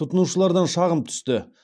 тұтынушылардан шағым түсті